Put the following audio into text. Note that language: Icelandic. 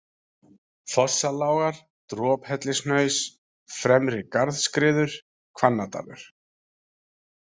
Fossalágar, Drophellishnaus, Fremri-Garðskriður, Hvannadalur